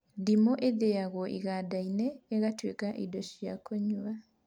Ndimũ ĩthĩagwo iganda-inĩ ĩgatuĩka indo cia kũnyua